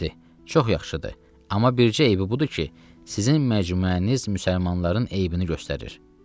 dedi: Çox yaxşıdır, amma bircə eybi budur ki, sizin məcmuəniz müsəlmanların eybini göstərir.